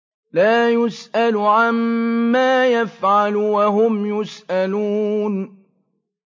لَا يُسْأَلُ عَمَّا يَفْعَلُ وَهُمْ يُسْأَلُونَ